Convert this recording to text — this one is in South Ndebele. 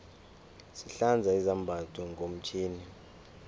sihlanza izambatho ngomtjhini